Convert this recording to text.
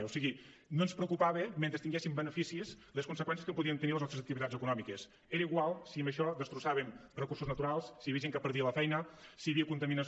o sigui no ens preocupaven mentre tinguéssim beneficis les conseqüències que podien tenir les nostres activitats econòmiques era igual si amb això destrossàvem recursos naturals si hi havia gent que perdia la feina si hi havia contaminació